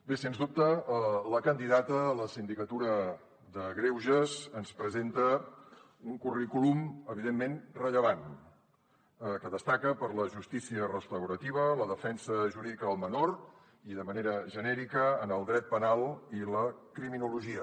bé sens dubte la candidata a la sindicatura de greuges ens presenta un currículum evidentment rellevant que destaca per la justícia restaurativa la defensa jurídica del menor i de manera genèrica en el dret penal i la criminologia